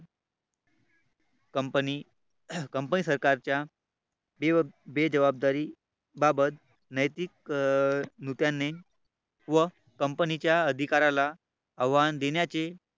Company Company सरकारच्या विविध जबाबदारी बाबत नैतिक अं नेत्यांनी व Company च्या अधिकाऱ्याला आव्हान देण्याचे